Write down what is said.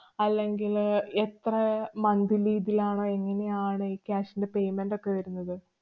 അല്ലെങ്കില് എത്ര monthly bill ആണ്? എങ്ങനെയാണ് ഈ cash ന്‍റെ payment ഒക്കെ വരുന്നത്?